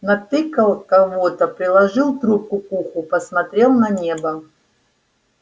натыкал кого-то приложил трубку к уху посмотрел на небо